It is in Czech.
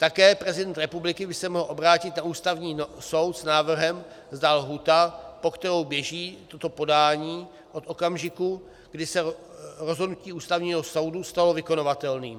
Také prezident republiky by se mohl obrátit na Ústavní soud s návrhem, zda lhůta, po kterou běží toto podání od okamžiku, kdy se rozhodnutí Ústavního soudu stalo vykonavatelným.